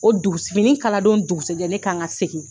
O dugus fini in kala don dugusajɛ, ne kan ka segin.